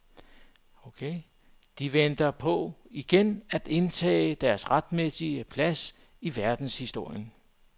De venter på igen at indtage deres retmæssige plads i verdenshistorien.